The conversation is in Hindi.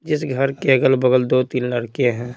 जिस घर के अगल-बगल दो-तीन लड़के हैं।